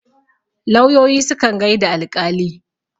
lauyoyi sukan gaida alƙali